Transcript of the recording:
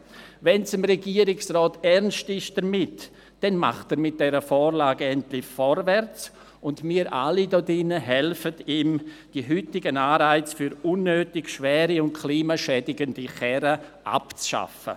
Wenn es dem Regierungsrat damit ernst ist, dann macht er mit dieser Vorlage endlich vorwärts, und wir alle hier im Grossen Rat helfen ihm, die heutigen Anreize für unnötig schwere und klimaschädigende Autos abzuschaffen.